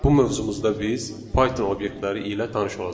Bu mövzumuzda biz Python obyektləri ilə tanış olacağıq.